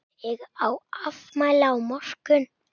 Ég á afmæli á morgun.